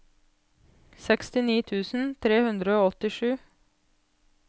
sekstini tusen tre hundre og åttisju